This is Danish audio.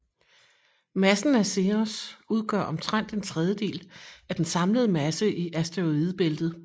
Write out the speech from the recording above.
Massen af Ceres udgør omtrent en tredjedel af den samlede masse i asteroidebæltet